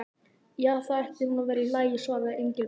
Jú, það ætti nú að vera í lagi svaraði Engilbert.